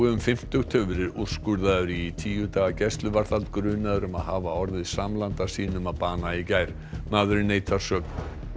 um fimmtugt hefur verið úrskurðaður í tíu daga gæsluvarðhald grunaður um að hafa orðið samlanda sínum að bana í gær maðurinn neitar sök